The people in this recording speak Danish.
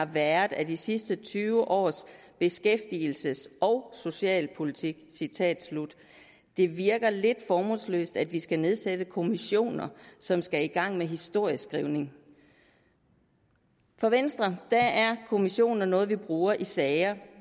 været af de sidste tyve års beskæftigelses og socialpolitik det virker lidt formålsløst at vi skal nedsætte kommissioner som skal i gang med historieskrivning for venstre er kommissioner noget man bruger i sager